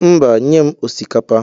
Mba, nye'm osikapa.